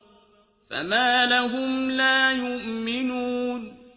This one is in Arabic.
فَمَا لَهُمْ لَا يُؤْمِنُونَ